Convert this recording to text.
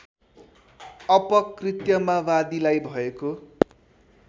अपकृत्यमा वादीलाई भएको